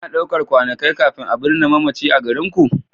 Ana ɗaukar kwanakai kafin a binne mamaci a garinku?